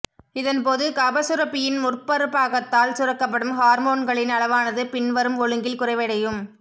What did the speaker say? இதன் போது கபச்சுரப்பியின் முற்புறப்பாகத்தால் சுரக்கப்படும் ஹார்மோன்களின் அளவானது பின்வரும் ஒழுங்கில் குறைவடையூம்